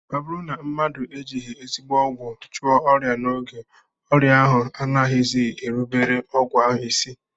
Ọ bụrụ na mmadụ ejighị ezigbo ọgwụ chụọ ọrịa n'oge, ọrịa ahụ anaghịzi erubere ọgwụ ahụ isi